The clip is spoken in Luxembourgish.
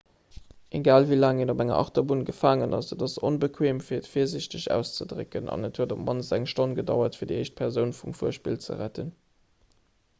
egal wéi laang een op enger achterbunn gefaangen ass et ass onbequeem fir et virsiichteg auszedrécken an et huet op d'mannst eng stonn gedauert fir déi éischt persoun vum fuerspill ze retten